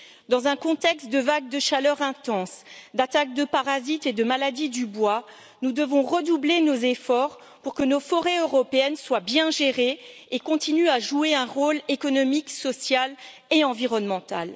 Dans un contexte de vague de chaleur intense, d'attaque de parasites et de maladies du bois, nous devons redoubler nos efforts pour que nos forêts européennes soient bien gérées et continuent à jouer un rôle économique, social et environnemental.